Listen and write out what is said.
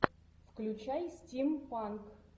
включай стимпанк